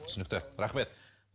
түсінікті рахмет